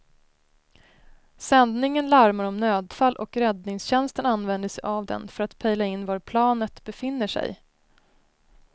Sändningen larmar om nödfall och räddningstjänsten använder sig av den för att pejla in var planet befinner sig.